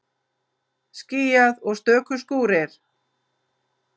Skýjað og stöku skúrir